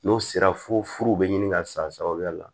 N'o sera fo furu bɛ ɲini ka san sabaya la